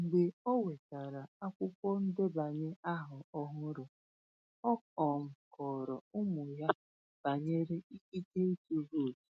Mgbe o nwetàrà akwụkwọ ndebanye ahọ ọhụrụ, ọ um kọrọ ụmụ ya banyere ikike ịtụ vootu.